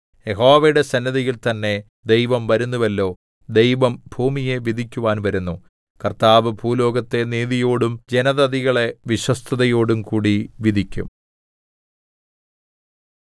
യഹോവയുടെ സന്നിധിയിൽ തന്നെ ദൈവം വരുന്നുവല്ലോ ദൈവം ഭൂമിയെ വിധിക്കുവാൻ വരുന്നു കർത്താവ് ഭൂലോകത്തെ നീതിയോടും ജനതതികളെ വിശ്വസ്തതയോടും കൂടി വിധിക്കും